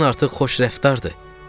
Həddən artıq xoş rəftardır.